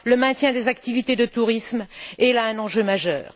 le maintien des activités de tourisme est là un enjeu majeur